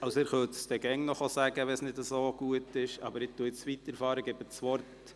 Sie können mir immer noch sagen, wenn Sie damit nicht einverstanden sind, aber ich fahre jetzt fort.